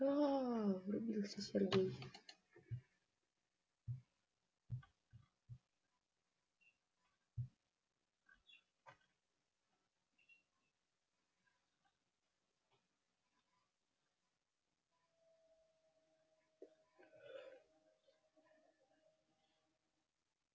ааа врубился сергей